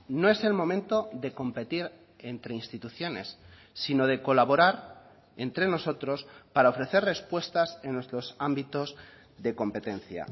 no es el momento de competir entre instituciones sino de colaborar entre nosotros para ofrecer respuestas en nuestros ámbitos de competencia